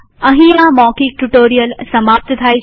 અહીં આ મૌખિક ટ્યુ્ટોરીઅલ સમાપ્ત થાય છે